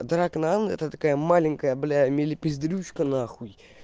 дракнан это такая маленькая бля милипиздрючка нахуй